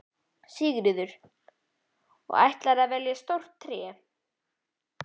Sigríður: Og ætlarðu að velja stórt tré?